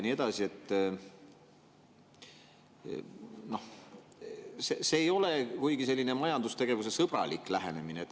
See ei ole kuigi selline majandustegevusesõbralik lähenemine.